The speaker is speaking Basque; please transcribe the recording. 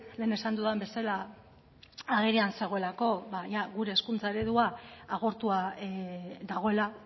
lehen esan dudan bezala agerian zegoelako ba gure hezkuntza eredua agortua dagoela